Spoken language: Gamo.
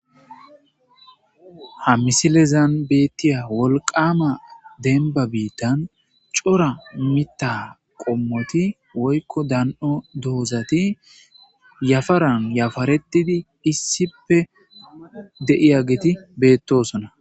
Ha miissilezan bettizza wolqqama dembba biitan cora miththa marran yappartidi de'iyaggeti bettosona.